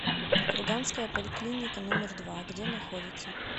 курганская поликлиника номер два где находится